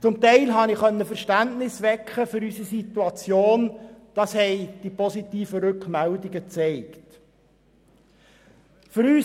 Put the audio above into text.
Zum Teil konnte ich für unsere Situation Verständnis wecken, was die positiven Rückmeldungen gezeigt haben.